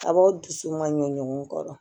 A b'aw dusu man ɲɛ ɲɔgɔn kɔrɔ